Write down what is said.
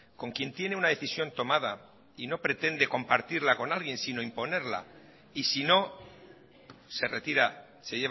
con quien tiene una decisión tomada y no pretende compartirla con nadie sino imponerla y si no se retira se